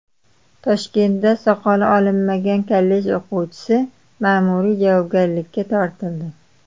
Toshkentda soqoli olinmagan kollej o‘quvchisi ma’muriy javobgarlikka tortildi.